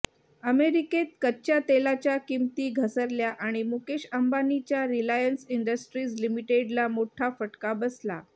अमेरिकेत कच्च्या तेलाच्या किमती घसरल्या आणि मुकेश अंबानीच्या रिलायन्स इंडस्ट्रीज लिमिटेडला मोठा फटका बसला